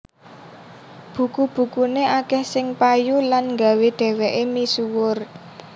Buku bukuné akèh sing payu lan nggawé dhèwèké misuwur